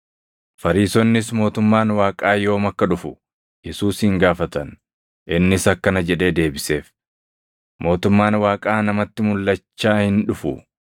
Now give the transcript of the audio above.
Fariisonnis mootummaan Waaqaa yoom akka dhufu Yesuusin gaafatan; innis akkana jedhee deebiseef; “Mootummaan Waaqaa namatti mulʼachaa hin dhufu;